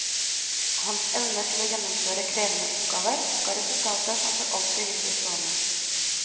Hans evner til å gjennomføre krevende oppgaver ga resultater som for alltid vil bli stående.